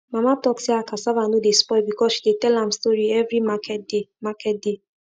mama talk say her cassava no dey spoil because she dey tell am story every market day market day